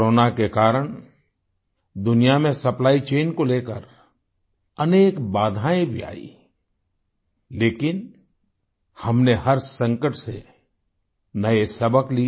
corona के कारण दुनिया में सप्लाई चैन को लेकर अनेक बाधाएं भी आईं लेकिन हमने हर संकट से नए सबक लिए